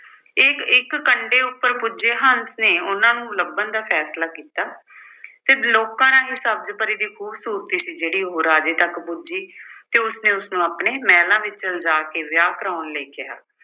ਇੱਕ-ਇੱਕ ਕੰਢੇ ਉੱਪਰ ਪੁੱਜੇ ਹੰਸ ਨੇ ਉਨ੍ਹਾਂ ਨੂੰ ਲੱਭਣ ਦਾ ਫੈਸਲਾ ਕੀਤਾ। ਫਿਰ ਲੋਕਾਂ ਰਾਹੀਂ ਸਬਜ਼ ਪਰੀ ਦੀ ਖੂਬਸੂਰਤੀ ਸੀ ਜਿਹੜੀ ਉਹ ਰਾਜੇ ਤੱਕ ਪੁੱਜੀ ਤੇ ਉਸਨੇ ਉਸਨੂੰ ਆਪਣੇ ਮਹਿਲਾਂ ਵਿੱਚ ਲਿਜਾ ਕੇ ਵਿਆਹ ਕਰਾਉਣ ਲਈ ਕਿਹਾ।